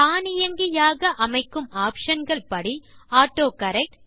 தானியங்கியாக அமைக்கும் ஆப்ஷன் கள் படி ஆட்டோகரெக்ட்